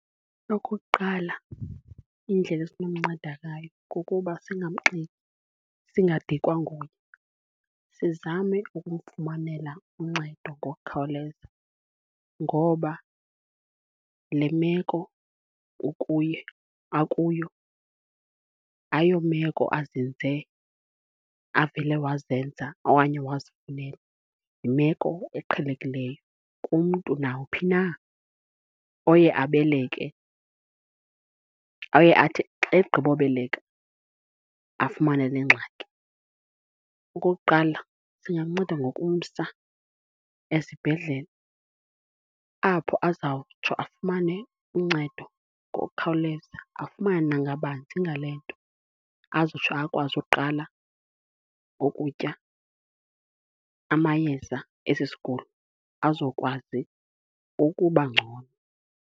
Okokuqala indlela esinomnceda ngayo kukuba singamxini, singadikwa nguye. Sizame ukumfumanela uncedo ngokukhawuleza, ngoba le meko ukuye, akuyo ayomeko azenze, avele wazenza okanye wazifunela yimeko eqhelekileyo kumntu nawuphi na oye abeleke, oye athi xa egqibobeleka afumane le ngxaki. Okokuqala singamnceda ngokumsa esibhedlele apho azawutsho afumane uncedo ngokukhawuleza, afumane na ngabanzi ngale nto azotsho akwazi ukuqala ukutya amayeza esi sigulo azokwazi ukuba ngcono.